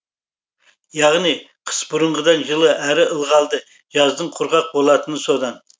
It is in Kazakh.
яғни қыс бұрынғыдан жылы әрі ылғалды жаздың құрғақ болатыны содан